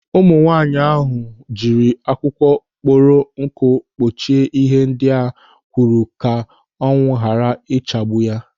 Ụmụ nwaanyị ahụ jiri akwụkwọ kpọrọ nkụ kpuchie ihe ndị ha kụrụ ka anwụ ghara ichagbu ha.